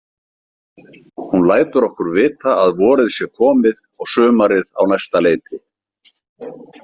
Hún lætur okkur vita að vorið sé komið og sumarið á næsta leiti.